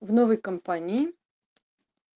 в новой компании